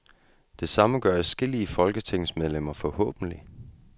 Det samme gør adskillige folketingsmedlemmer forhåbentlig.